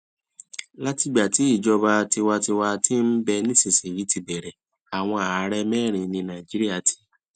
látìgbà tí ìjọba tiwantiwa ti ń bẹ nísinsìnyí ti bẹrẹ àwọn ààrẹ mẹrin ni nàìjíríà ti